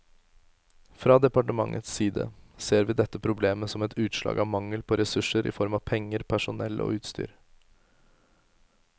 Fra departementets side ser vi dette problemet som et utslag av mangel på ressurser i form av penger, personell og utstyr.